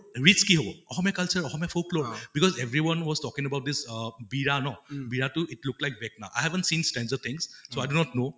rich কি হʼব Asomiya culture Asomiya folklore because every one was talking about this uh বিৰা ন, বিৰাটো it looked like i have seen stranger things so i do not know